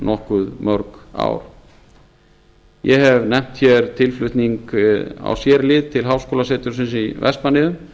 nokkuð mörg ár ég hef nefnt tilflutning á sérlið til háskólasetursins í vestmannaeyjum